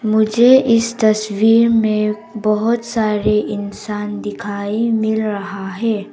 मुझे इस तस्वीर में बहुत सारे इंसान दिखाई मिल रहा है।